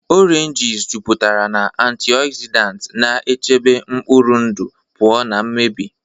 Oranges jupụtara na antioxidants, na-echebe mkpụrụ ndụ pụọ na mmebi.